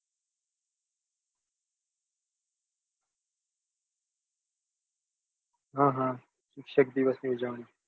આહ શિક્ષક દિવસની ઉજવણી